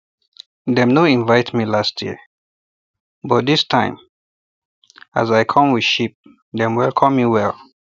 dem no invite me last um year but this um time as i come with sheep dem um welcome me well